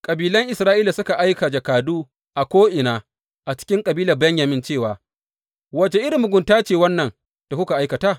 Kabilan Isra’ila suka aika jakadu a ko’ina a cikin kabilar Benyamin cewa, Wace irin mugunta ce wannan da kuka aikata?